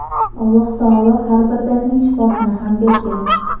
Alloh taolo har bir dardning shifosini ham bergan.